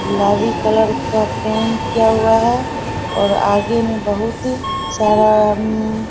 गुलाबी कलर का पेन्ट किया हुआ है और आगे में बहुत सारा उम्म --